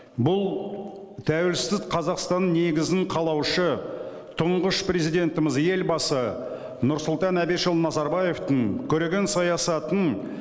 бұл тәуелсіз қазақстанның негізін қалаушы тұңғыш президентіміз елбасы нұрсұлтан әбішұлы назарбаевтың көреген саясаттың